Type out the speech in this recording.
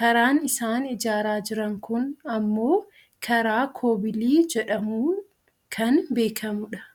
Karaan isaan ijaaraa jiran kun ammoo karaa koobilii jedhamuun kan beekkamudha.